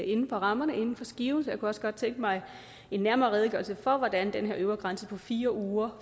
inden for rammerne inden for skiven så jeg kunne også godt tænke mig en nærmere redegørelse for hvordan den her øvre grænse på fire uger